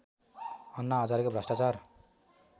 अन्ना हजारेको भ्रष्टाचार